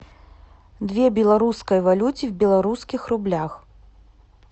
две белорусской валюте в белорусских рублях